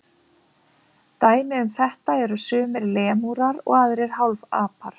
Dæmi um þetta eru sumir lemúrar og aðrir hálfapar.